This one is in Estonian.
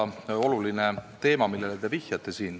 See on väga oluline teema, millele te vihjate.